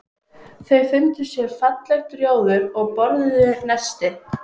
Þau fundu sér fallegt rjóður og borðuðu nestið.